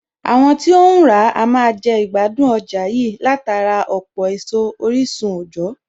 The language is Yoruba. Àwọn tí óhún ràá a máa jẹ ìgbádùn ọjà yìí látara ọ̀pọ̀ èso orísun òjọ̀ọ́